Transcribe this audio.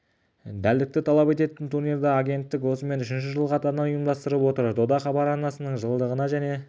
дәлдікті талап ететін турнирді агенттіктік осымен үшінші жыл қатарынан ұйымдастырып отыр дода хабар арнасының жылдығы және